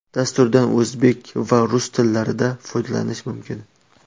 Dasturdan o‘zbek va rus tillarida foydalanish mumkin.